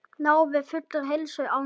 Náði fullri heilsu á ný.